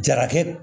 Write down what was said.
Jarakɛ